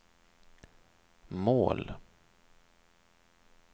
mål